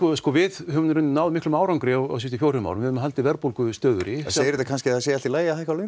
við höfum náð miklum árangri á síðustu fjórum árum við höfum haldið verðbólgu stöðugri segir það kannski að það sé í lagi að hækka launin